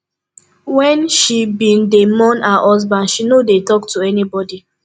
wen she bin dey mourn her husband she no dey talk to anybody